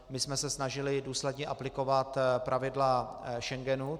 My jsme se snažili důsledně aplikovat pravidla Schengenu.